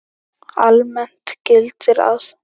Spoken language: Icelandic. Almennt gildir að